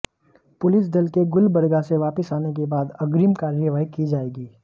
police दल के गुलबर्गा से वापस आने के बाद अग्रिम कार्यवाही की जायेगी